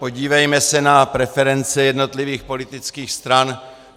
Podívejme se na preference jednotlivých politických stran.